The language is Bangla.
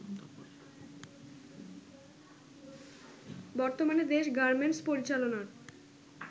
বর্তমানে দেশ গার্মেন্টস পরিচালনার